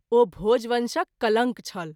ओ भोजवंशक कलंक छल।